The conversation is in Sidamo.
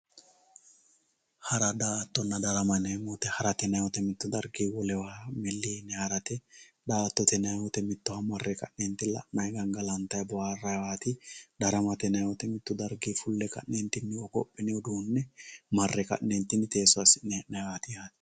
hara daa"ttonna darama yineemo woyiite harate yineemo woyeete mittu dargii wolewa milli yinayii harate daa"atotte yinayii wote mittowa marre ka'neeti la'naayinna qallanday waarayiiwaati daramate yineemoti mittu dargii fulle ka'neeti hogophine uduune marre ka'neeti teeso assi'ne he'naayiwaati yaate.